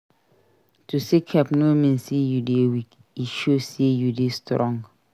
To seek help no mean sey you dey weak; e show sey you dey strong.